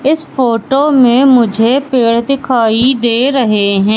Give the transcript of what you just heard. इस फोटो में मुझे पेड़ दिखाई दे रहे हैं।